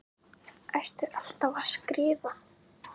Ertu alltaf að skrifa?